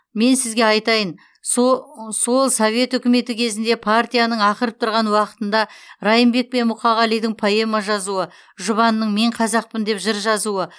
мен сізге айтайын со сол совет үкіметі кезінде партияның ақырып тұрған уақытында райымбек деп мұқағалидың поэма жазуы жұбанның мен қазақпын деп жыр жазуы